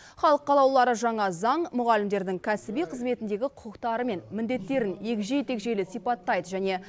халық қалаулылары жаңа заң мұғалімдердің кәсіби қызметіндегі құқықтары мен міндеттерін егжей тегжейлі сипаттайды және